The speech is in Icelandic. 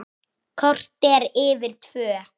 Korter yfir fjögur.